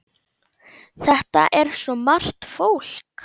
Þetta er svo margt fólk.